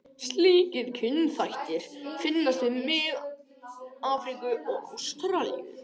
Slíkir kynþættir finnast víða í Mið-Afríku og Ástralíu.